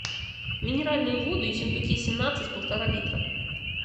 минеральную воду ессентуки семнадцать полтора литра